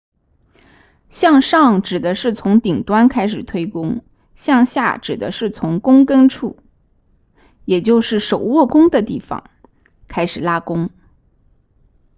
向上指的是从顶端开始推弓向下指的是从弓根处也就是手握弓的地方开始拉弓